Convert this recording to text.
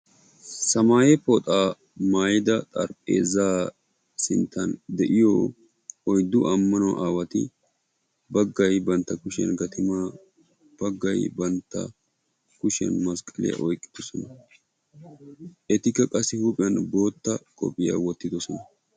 Samaye pooxa maayida xarapheezzaa sinttan de'iya oyddu ammano aawati baggay bantta kushiyan gatimaa, baggay bantta kushiyan masqqaliya oyqqidosona. Ettika qassi huuphiyan botta qophiya wottidosona.